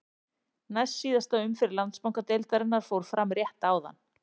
Næst síðasta umferð Landsbankadeildarinnar fór fram rétt áðan.